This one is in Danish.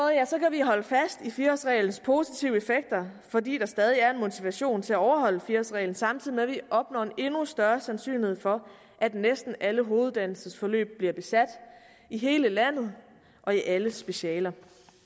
vi holde fast i fire årsreglens positive effekter fordi der stadig er en motivation til at overholde fire årsreglen samtidig med at vi opnår en endnu større sandsynlighed for at næsten alle hoveduddannelsesforløb bliver besat i hele landet og i alle specialer